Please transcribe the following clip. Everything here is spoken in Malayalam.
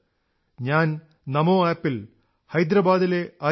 ഞാൻ നമോ ആപ് ൽ ഹൈദരബാദിലെ അജയ് എസ്